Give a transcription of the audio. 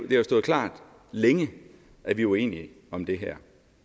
det har stået klart længe at vi er uenige om det her